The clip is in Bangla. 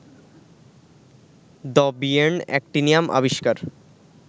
দ্যবিয়ের্ন অ্যাক্টিনিয়াম আবিষ্কার